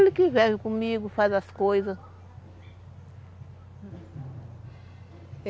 Ele que vive comigo, faz as coisas.